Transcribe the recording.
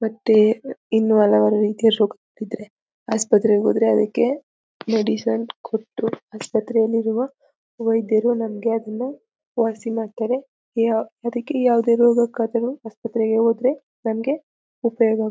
ಮತ್ತೇ ಇನ್ನು ಹಲವಾರು ರೀತಿಯ ರೋಗಗಳಿದ್ರೆ ಆಸ್ಪತ್ರೆ ಹೋದ್ರೆ ಅದಕ್ಕೆ ಮೆಡಿಸಿನ್ ಕೊಟ್ರು ಆಸ್ಪತ್ರೆಯಲ್ಲಿರುವ ವೈದ್ದ್ಯರು ನಮ್ಗೆ ಅದನ್ನ ವಾಸಿ ಮಾಡ್ತಾರೆ ಯಾ ಅದಕ್ಕೆ ಯಾವದೇ ರೋಗಕ್ ಆದರು ಆಸ್ಪತ್ರೆಗೆ ಹೋದ್ರೆ ನಮ್ಗೆ ಉಪಯೋಗ--